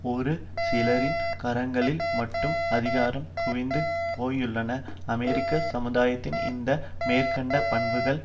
ஒரு சிலரின் கரங்களில் மட்டும் அதிகாரம் குவிந்து போயுள்ள அமெரிக்க சமுதாயத்தின் இந்த மேற்கண்ட பண்புகள்